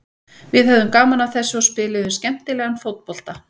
Við höfðum gaman af þessu og spiluðum skemmtilegan fótbolta.